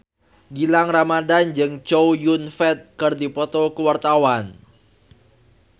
Gilang Ramadan jeung Chow Yun Fat keur dipoto ku wartawan